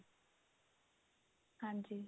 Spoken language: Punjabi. ਹਾਂਜੀ